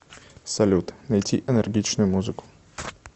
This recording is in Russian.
салют найти энергичную музыку